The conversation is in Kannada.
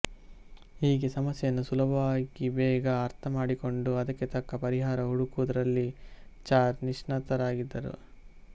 ಹೀಗೆ ಸಮಸ್ಯೆಯನ್ನು ಸುಲಭವಾಗಿಬೇಗ ಅರ್ಥಮಾಡಿಕೊಂಡು ಅದಕ್ಕೆ ತಕ್ಕ ಪರಿಹಾರ ಹುಡುಕುವುದರಲ್ಲಿ ಚಾರ್ ನಿಷ್ಣಾತರಾಗಿದ್ದರು